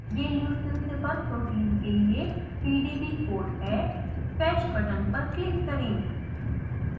ये leucine zipper protein के लिए pdb कोड है fetch बटन पर क्लिक करें